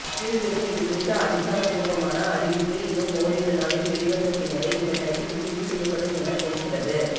இருப்பினும் இதுகுறித்த அதிகாரப்பூர்வ அறிவிப்பு இன்னும் ஓரிரு நாளில் வெளிவந்த பின்னரே இந்த டைட்டில் உறுதி செய்யப்படும் என தெரிகிறது